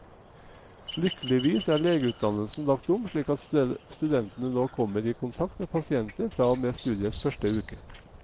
Lykkeligvis er legeutdannelsen lagt om, slik at studentene nå kommer i kontakt med pasienter fra og med studiets første uke.